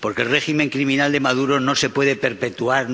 Porque el régimen criminal de Maduro no se puede perpetuar.